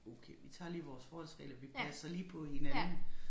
Okay vi tager lige vores forholdsregler vi passer lige på hinanden